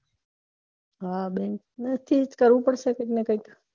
હા bank કૈક કરવું પડે કૈક